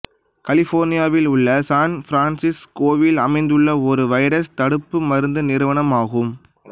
கலிபோர்னியாவில் உள்ள சான் பிரான்ஸிஸ்கோவில் அமைந்துள்ள ஒரு வைரஸ் தடுப்பு மருந்து நிறுவனம் ஆகும்